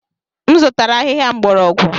M zụtara ahịhịa mgbọrọgwụ.